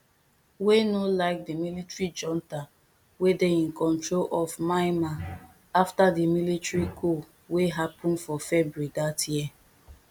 wey no like di military junta wey dey in control of myanmar afta di military coup wey happun for february dat year